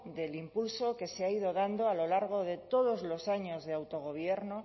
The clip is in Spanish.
del impulso que se ha ido dando a lo largo de todos los años de autogobierno